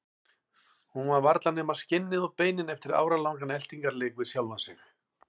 Hún er varla nema skinnið og beinin eftir áralangan eltingarleik við sjálfa sig.